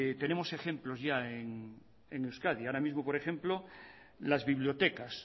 tenemos ejemplos ya en euskadi ahora mismo por ejemplo las bibliotecas